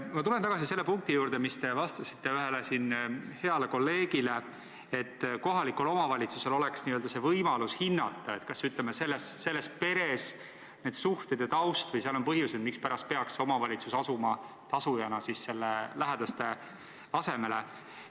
Ma tulen aga tagasi selle punkti juurde, mille kohta te vastasite siin ühele heale kolleegile, et kohalikul omavalitsusel peaks olema võimalus hinnata, kas peres on suhted ja taust sellised või on seal põhjuseid, mispärast peaks omavalitsus asuma tasujana lähedaste asemele.